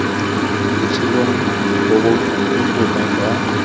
botshelong bo bo botoka jwa